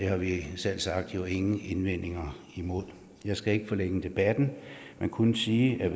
har vi selvsagt ingen indvendinger imod jeg skal ikke forlænge debatten men kun sige at med